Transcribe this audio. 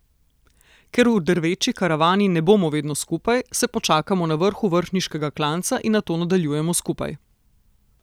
Ker v drveči karavani ne bomo vedno skupaj, se počakamo na vrhu vrhniškega klanca in nato nadaljujemo skupaj.